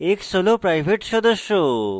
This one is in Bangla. x হল private সদস্য